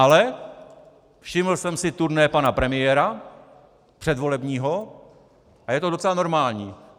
Ale všiml jsem si turné pana premiéra, předvolebního, a je to docela normální.